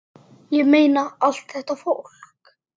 Ég meina, allt þetta fólk!